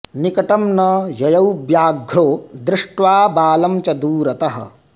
निकटं न ययौ व्याघ्रो दृष्ट्वा बालं च दूरतः